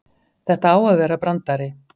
Þetta á að vera brandari.